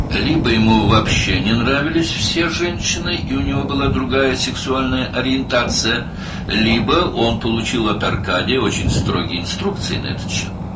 Ya o, ümumiyyətlə, bütün qadınları bəyənmirdi və başqa cinsi oriyentasiyaya malik idi, ya da Arkadidən bu barədə çox sərt təlimatlar almışdı.